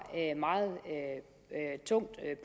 meget tungt